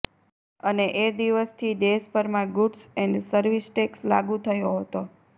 અને એ દિવસથી દેશભરમાં ગૂડ્સ એન્ડ સર્વિસ ટેક્સ લાગુ થયો હતો